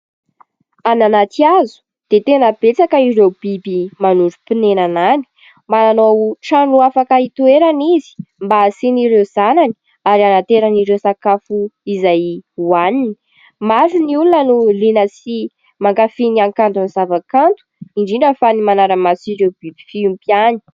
Any anaty hazo dia tena betsaka ireo biby manorim-ponenana any. Manao trano afaka hitoerany izy mba hasiany ireo zanany ary hanaterany ireo sakafo izay hoaniny. Maro ny olona no liana sy mankafia ny hakantony zava-kanto, indrindra fa ny manara-maso ireo biby fiompy ihany.